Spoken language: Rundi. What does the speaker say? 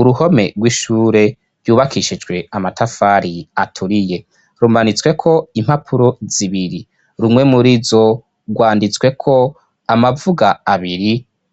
uruhome rw'ishure byubakishijwe amatafari aturiye rumanitswe ko impapuro zibiri rumwe muri zo rwanditswe ko amavuga abiri